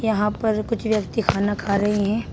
यहां पर कुछ व्यक्ति खाना खा रहे हैं।